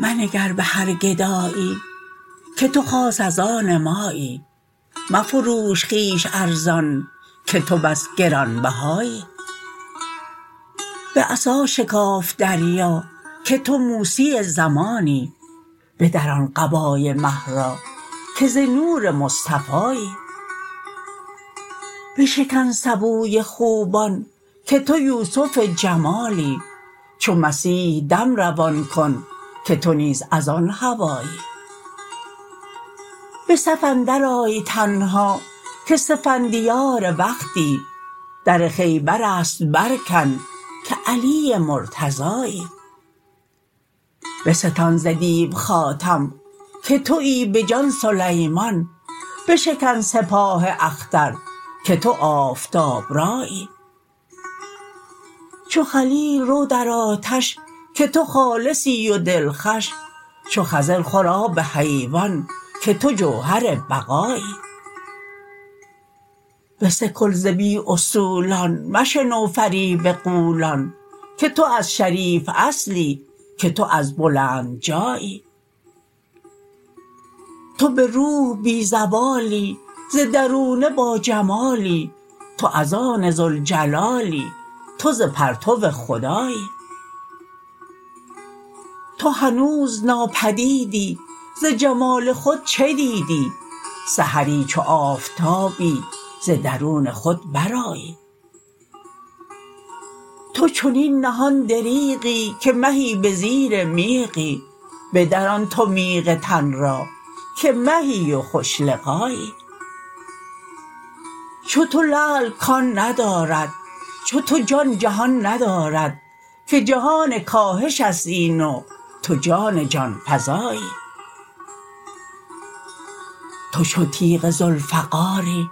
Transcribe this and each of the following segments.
منگر به هر گدایی که تو خاص از آن مایی مفروش خویش ارزان که تو بس گران بهایی به عصا شکاف دریا که تو موسی زمانی بدران قبای مه را که ز نور مصطفایی بشکن سبوی خوبان که تو یوسف جمالی چو مسیح دم روان کن که تو نیز از آن هوایی به صف اندرآی تنها که سفندیار وقتی در خیبر است برکن که علی مرتضایی بستان ز دیو خاتم که توی به جان سلیمان بشکن سپاه اختر که تو آفتاب رایی چو خلیل رو در آتش که تو خالصی و دلخوش چو خضر خور آب حیوان که تو جوهر بقایی بسکل ز بی اصولان مشنو فریب غولان که تو از شریف اصلی که تو از بلند جایی تو به روح بی زوالی ز درونه باجمالی تو از آن ذوالجلالی تو ز پرتو خدایی تو هنوز ناپدیدی ز جمال خود چه دیدی سحری چو آفتابی ز درون خود برآیی تو چنین نهان دریغی که مهی به زیر میغی بدران تو میغ تن را که مهی و خوش لقایی چو تو لعل کان ندارد چو تو جان جهان ندارد که جهان کاهش است این و تو جان جان فزایی تو چو تیغ ذوالفقاری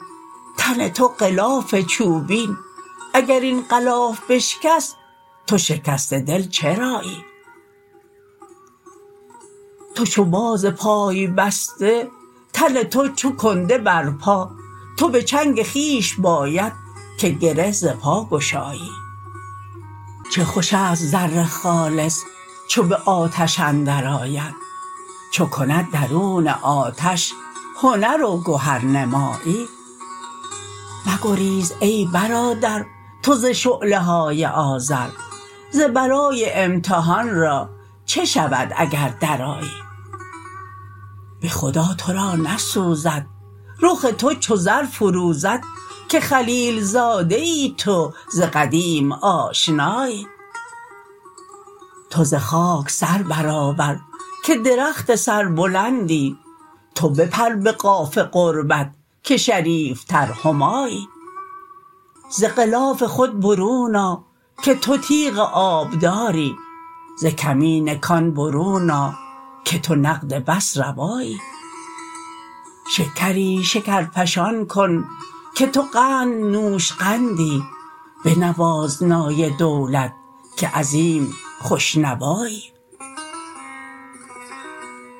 تن تو غلاف چوبین اگر این غلاف بشکست تو شکسته دل چرایی تو چو باز پای بسته تن تو چو کنده بر پا تو به چنگ خویش باید که گره ز پا گشایی چه خوش است زر خالص چو به آتش اندرآید چو کند درون آتش هنر و گهرنمایی مگریز ای برادر تو ز شعله های آذر ز برای امتحان را چه شود اگر درآیی به خدا تو را نسوزد رخ تو چو زر فروزد که خلیل زاده ای تو ز قدیم آشنایی تو ز خاک سر برآور که درخت سربلندی تو بپر به قاف قربت که شریفتر همایی ز غلاف خود برون آ که تو تیغ آبداری ز کمین کان برون آ که تو نقد بس روایی شکری شکرفشان کن که تو قند نوشقندی بنواز نای دولت که عظیم خوش نوایی